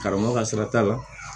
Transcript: Karamɔgɔ ka sira t'a la